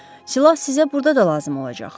Silah sizə burda da lazım olacaq.